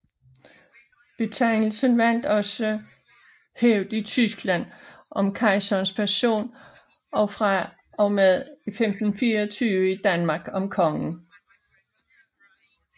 Betegnelsen vandt også hævd i Tyskland om kejserens person og fra og med 1524 i Danmark om kongen